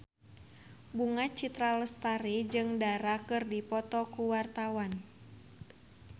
Bunga Citra Lestari jeung Dara keur dipoto ku wartawan